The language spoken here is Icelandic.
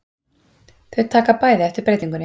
Þau taka bæði eftir breytingunni.